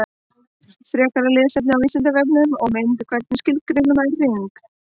Frekara lesefni á Vísindavefnum og mynd Hvernig skilgreinir maður hring?